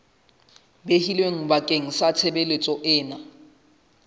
behilweng bakeng sa tshebeletso ena